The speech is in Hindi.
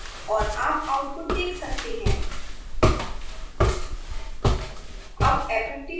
एंटर दबाएँ और आप आउटपुट देख सकते हैं 10 2 + 2i 2 2 2i